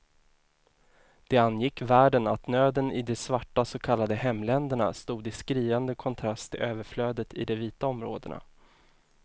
Det angick världen att nöden i de svarta så kallade hemländerna stod i skriande kontrast till överflödet i de vita områdena.